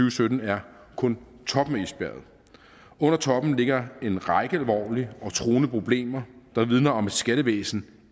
og sytten er kun toppen af isbjerget under toppen ligger en række alvorlige og truende problemer der vidner om et skattevæsen